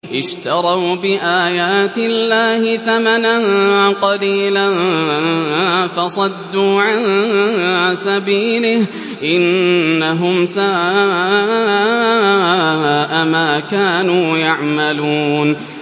اشْتَرَوْا بِآيَاتِ اللَّهِ ثَمَنًا قَلِيلًا فَصَدُّوا عَن سَبِيلِهِ ۚ إِنَّهُمْ سَاءَ مَا كَانُوا يَعْمَلُونَ